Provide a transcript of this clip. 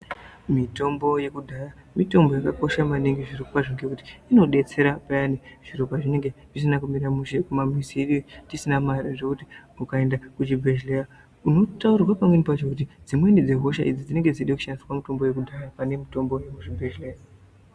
Mitombo yekudhaya, mitombo yakakosha maningi zvirokwazvo ngekuti inodetsera payani zviro pazvinenge zvisina kumira mushe kumamuziyo tisina mare zvekuti ukaenda kuchibhedhleya, unotaurirwa pamweni pacho kuti dzimweni dzehosha idzi dzinenge dzichide kushandisa mitombo yekudhaya pane mitombo yekuzvibhedhleya.